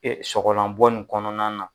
sɔgɔlabɔ nin kɔnɔna na.